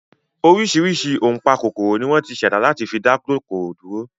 Oríṣiríṣi ọ̀npákòkòrò ni wọ́n ti ṣẹ̀dá láti fi dá kòkòrò dúró